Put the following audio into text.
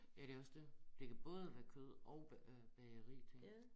Ja det også dét det kan både være kød og bag øh bageri tænker jeg